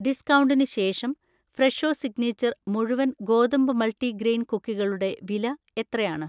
ഡിസ്കൗണ്ടിന് ശേഷം Fresho Signature മുഴുവൻ ഗോതമ്പ് മൾട്ടിഗ്രെയിൻ കുക്കികളുടെ വില എത്രയാണ്?